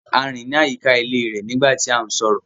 A rin ni ayíkà ilẹ̀ rẹ nígbà tí à n sọrọ.